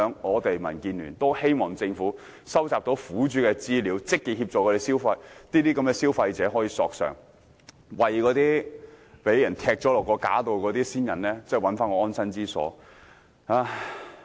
就此，民建聯希望政府可以收集苦主資料，積極協助消費者索償，為被踢下架的先人尋回安身之所。